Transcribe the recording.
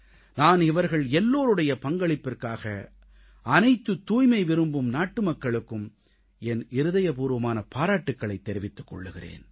நான் இவர்கள் எல்லோருடைய பங்களிப்பிற்காக அனைத்துத் தூய்மை விரும்பும் நாட்டுமக்களுக்கும் என் இதயப்பூர்வமான பாராட்டுகளைத் தெரிவித்துக் கொள்கிறேன்